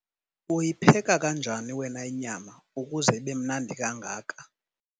uyipheka kanjani wena inyama ukuze ibe mnandi kangaka?